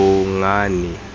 bongane